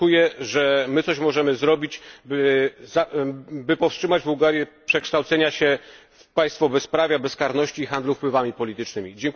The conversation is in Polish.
Oczekuję, że my coś możemy zrobić, by powstrzymać Bułgarię od przekształcenia się w państwo bezprawia, bezkarności i handlu wpływami politycznymi.